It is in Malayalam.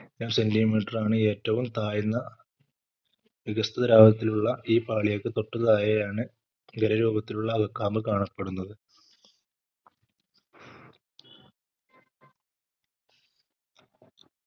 centimeter ആണ് ഏറ്റവും താഴ്ന്ന വികസ്ത്രിത ദ്രാവകത്തിലുള്ള ഈ പാളികൾക്ക് തൊട്ടു താഴെയാണ് ഗര രൂപത്തിലുള്ള അകക്കാമ്പ് കാണപ്പെടുന്നത്